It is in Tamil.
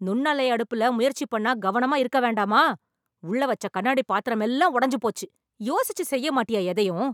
நுண்ணலை அடுப்புல முயற்சி பண்ணா கவனமா இருக்க வேணாமா? உள்ள வச்ச கண்ணாடி பாத்திரம் எல்லாம் உடஞ்சு போச்சு.யோசிச்சு செய்ய மாட்டியா எதையும்?